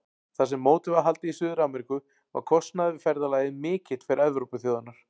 Þar sem mótið var haldið í Suður-Ameríku var kostnaður við ferðalagið mikill fyrir Evrópuþjóðirnar.